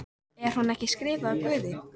Er hún ekki skrifuð af Guði?